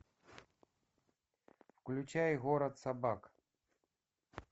включай город собак